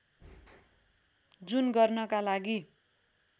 जुन गर्नका लागि